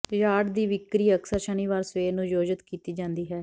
yard ਦੀ ਵਿਕਰੀ ਅਕਸਰ ਸ਼ਨੀਵਾਰ ਸਵੇਰ ਨੂੰ ਆਯੋਜਤ ਕੀਤੀ ਜਾਂਦੀ ਹੈ